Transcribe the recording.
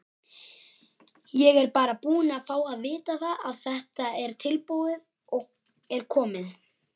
Ég er bara búinn að fá að vita að þetta tilboð er komið.